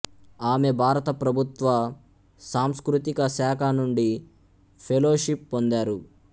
ఆమె భారత ప్రభుత్వ సాంస్కృతిక శాఖ నుండి ఫెలోషిప్ పొందారు